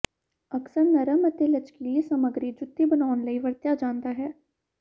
ਅਕਸਰ ਨਰਮ ਅਤੇ ਲਚਕੀਲੇ ਸਮੱਗਰੀ ਜੁੱਤੀ ਬਣਾਉਣ ਲਈ ਵਰਤਿਆ ਜਾਦਾ ਹੈ